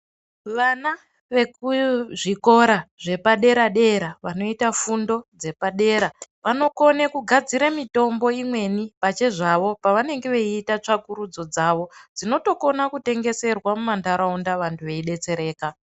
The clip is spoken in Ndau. Vana vekuzvikora zvepaderadera vanoita fundo dzepadera vanokona kugadzira mitombo imweni pachezvavo pavanenge vaiita tsvakurudzo dzavo dzinotokona kutengeserwa mumandaraunda vantu veidetsereka.